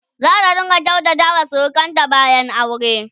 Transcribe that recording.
zata rinƙa kyautata wa surukanta bayan aure?